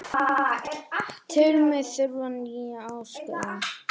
Tel mig þurfa nýja áskorun